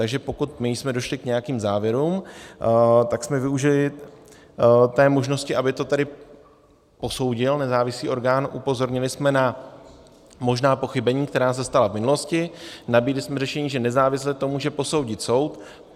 Takže pokud my jsme došli k nějakým závěrům, tak jsme využili té možnosti, aby to tedy posoudil nezávislý orgán, upozornili jsme na možná pochybení, která se stala v minulosti, nabídli jsme řešení, že nezávisle to může posoudit soud.